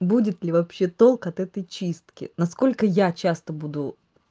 будет ли вообще толк от этой чистки насколько я часто буду